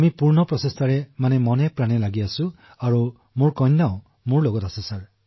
আমি সম্পূৰ্ণ প্ৰয়াস কৰিছো আৰু মোৰ সৈতে মোৰ কন্যা অদিতিও আছে